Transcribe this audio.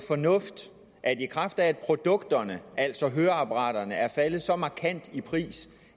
fornuft i kraft af at produkterne altså høreapparaterne er faldet så markant i pris